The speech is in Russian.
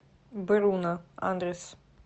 бруно адрес